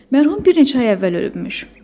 Mərhum bir neçə ay əvvəl ölübmüş.